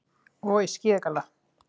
Og í skíðagalla.